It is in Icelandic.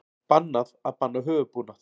Bannað að banna höfuðbúnað